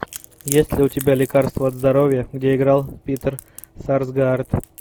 есть ли у тебя лекарство от здоровья где играл питер сарсгаард